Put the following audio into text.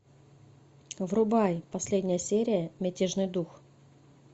врубай последняя серия мятежный дух